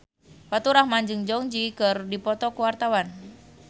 Faturrahman jeung Jong Eun Ji keur dipoto ku wartawan